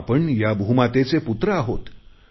आपण या भूमातेचे पुत्र आहोत